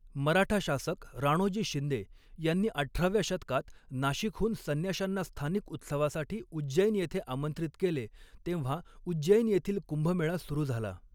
मराठा शासक राणोजी शिंदे यांनी अठराव्या शतकात नाशिकहून संन्याशांना स्थानिक उत्सवासाठी उज्जैन येथे आमंत्रित केले तेव्हा उज्जैन येथील कुंभमेळा सुरू झाला.